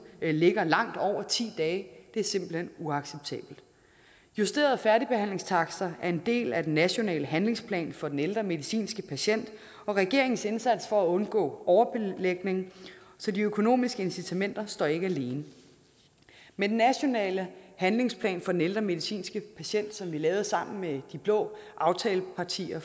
ligger langt over ti dage simpelt hen er uacceptable justerede færdigbehandlingstakster er en del af den nationale handlingsplan for den ældre medicinske patient og regeringens indsats for at undgå overbelægning så de økonomiske incitamenter står ikke alene med den nationale handlingsplan for den ældre medicinske patient som er lavet sammen med de blå aftalepartier